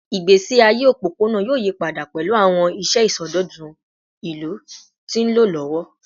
Igbesi aye opopona yoo yipada pẹlu awọn iṣẹ isọdọtun ilu ti nlọ lọwọ